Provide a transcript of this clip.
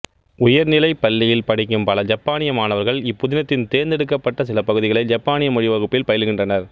உயர்நிலை பள்ளியில் படிக்கும் பல ஜப்பானிய மாணவர்கள் இப்புதினத்தின் தேர்ந்து எடுக்கப்பட்ட சில பகுதிகளை ஜப்பானியமொழி வகுப்பில் பயிலுகின்றனர்